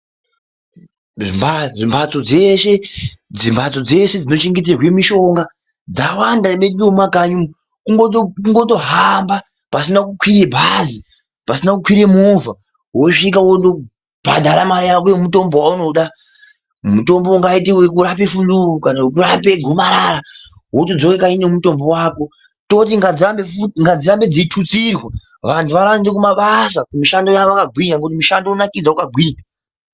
Mbatso dzeshe, mbatso dzeshe dzinochengetedzwa mishonga dzawanda mwedu nemumakanyi. Kutongo kungotohamba pasina kukwira bhazi, pasina kukwira movha wosvika wondobhadhara mare yako yemutombo waunoda. Mutombo uyu ungaita wekurapa fuluu kana we kurapa gomarara. Wotodzoka kanyi nemutombo wako. Tototi ngadzirambe futi, ngadzirambe dzeitutsirwa vantu vaende kumabasa vakagwinya ngekuti mushando unonakidza wakagwinya.